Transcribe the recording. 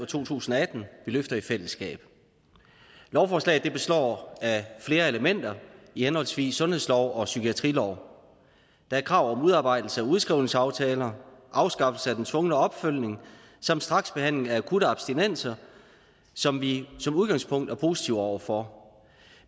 to tusind og atten vi løfter i fællesskab lovforslaget består af flere elementer i henholdsvis sundhedslov og psykiatrilov der er krav om udarbejdelse af udskrivningsaftaler afskaffelse af den tvungne opfølgning samt straksbehandling af akutte abstinenser som vi som udgangspunkt er positive over for